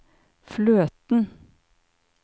fløten